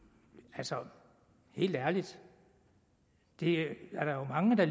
altså helt ærligt det er der jo mange der